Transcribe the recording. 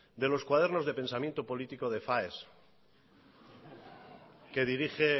de los cuadernos de pensamiento políticos de faes que dirige